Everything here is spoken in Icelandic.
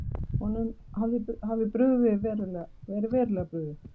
Honum hafi verið verulega brugðið.